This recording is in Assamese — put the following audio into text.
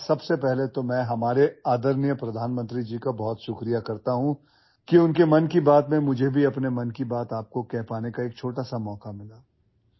প্ৰথমে আমাৰ মৰমৰ প্ৰধানমন্ত্ৰী ডাঙৰীয়াক ধন্যবাদ জনাইছো তেওঁৰ মন কী বাতৰ বাবে মইও মোৰ চিন্তাধাৰা আপোনালোকৰ লগত শ্বেয়াৰ কৰাৰ এটা সৰু সুযোগ পালোঁ